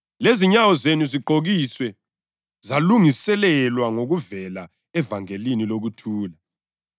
Manini liqine, ibhanti leqiniso libotshelwe ngensimbi ezinkalweni zenu, lesihlangu sasesifubeni sokulunga sisendaweni yaso,